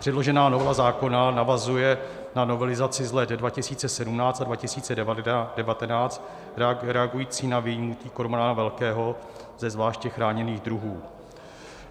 Předložená novela zákona navazuje na novelizaci z let 2017 a 2019 reagující na výjimku kormorána velkého ze zvláště chráněných druhů.